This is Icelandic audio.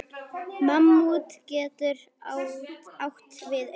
Mammút getur átt við um